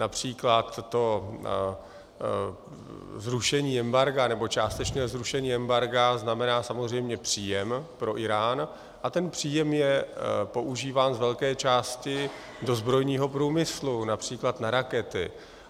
Například to zrušení embarga, nebo částečné zrušení embarga, znamená samozřejmě příjem pro Írán a ten příjem je používán z velké části do zbrojního průmyslu, například na rakety.